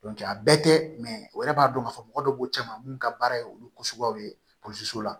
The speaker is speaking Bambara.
a bɛɛ tɛ o yɛrɛ b'a dɔn k'a fɔ mɔgɔ dɔ b'o cɛ ma minnu ka baara ye olu ko sugubaw ye so la